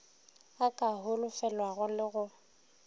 a ka holofelwago le go